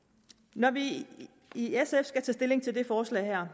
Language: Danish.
når vi i sf skal tage stilling til det forslag her